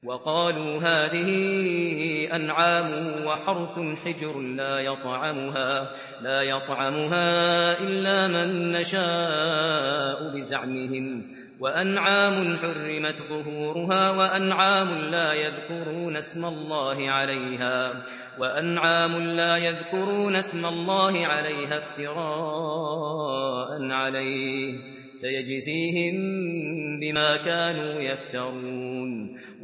وَقَالُوا هَٰذِهِ أَنْعَامٌ وَحَرْثٌ حِجْرٌ لَّا يَطْعَمُهَا إِلَّا مَن نَّشَاءُ بِزَعْمِهِمْ وَأَنْعَامٌ حُرِّمَتْ ظُهُورُهَا وَأَنْعَامٌ لَّا يَذْكُرُونَ اسْمَ اللَّهِ عَلَيْهَا افْتِرَاءً عَلَيْهِ ۚ سَيَجْزِيهِم بِمَا كَانُوا يَفْتَرُونَ